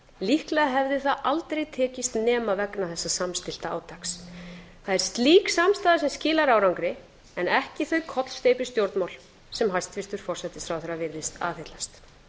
líklega hefði það aldrei tekist nema vegna þessa samstillta átaks það er slík samstaða sem skilar árangri en ekki þau kollsteypustjórnmál sem hæstvirtur forsætisráðherra virðist aðhyllast